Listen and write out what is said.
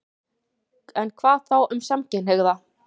En hvað þá um samkynhneigða?